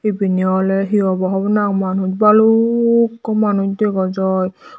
ebeni oley hi obow hobor nw pang manus balukko manus dega jaai.